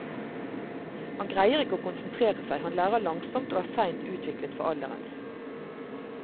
Han greier ikke å konsentrere seg, han lærer langsomt og er seint utviklet for alderen.